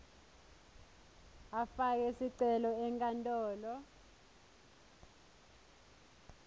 afake sicelo enkantolo